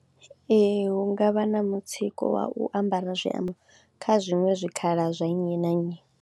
Ee hu nga vha na mutsiko wa u ambara zwiambaro kha zwiṅwe zwikhala zwa nnyi na nnyi.